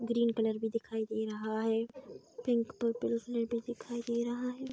Green colour भी दिखाई दे रहा है पिंक पर्पलस में भी दिखाई दे रहा है।